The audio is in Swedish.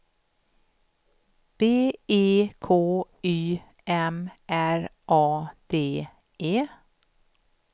B E K Y M R A D E